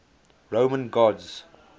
roman gods